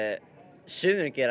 sumir gera